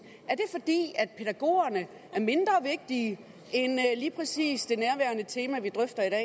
er pædagogerne er mindre vigtige end lige præcis det nærværende tema vi drøfter